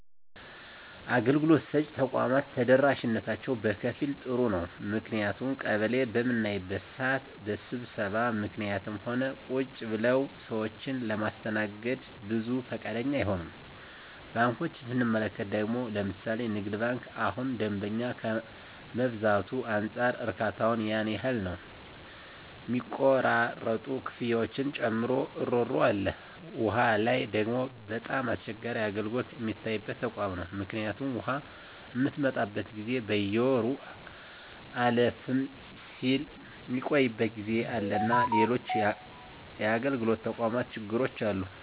አገልግሎት ሰጭ ተቋማት ተደራሽነታቸው በከፊል ጥሩ ነው ምክንያቱም ቀበሌ በምናይበት ስዓት በስብሰባ ምክኒትም ሆነ ቁጭ ብለውም ሰዎችን ለማስተናገድ ብዙ ፈቃደኛ አይሆኑም። ባንኮችን ስንመለከት ደግሞ ለምሣሌ ንግድ ባንክ እሁን ደንበኛ ከመብዛቱ አንፃር እርካታው ያን ያህል ነው ሚቆራረጡ ክፍያዎችን ጨምሮ እሮሮ አለ። ዉሃ ላይ ደግሞ በጣም አስቸጋሪ አገልግሎት ሚታይበት ተቋም ነው ምክኒቱም ውሃ ምትመጣበት ጊዜ በየወሩ አለፍም ስል ሚቆይበት ጊዜ አለና ሎሎችም የአገልግሎት ተቋማት ችግሮች አሉ።